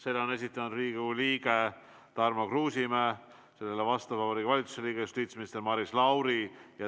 Selle on esitanud Riigikogu liige Tarmo Kruusimäe ja vastab Vabariigi Valitsuse liige justiitsminister Maris Lauri.